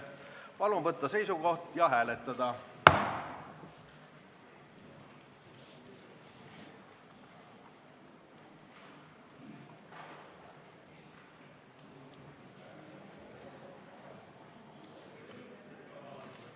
Palun võtta seisukoht ja hääletada!